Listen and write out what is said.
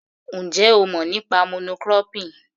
Ǹjẹ́ ó mọ̀ nípa mono cropping?